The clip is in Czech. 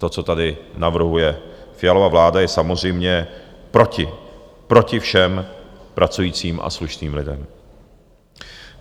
To, co tady navrhuje Fialova vláda, je samozřejmě proti všem pracujícím a slušným lidem.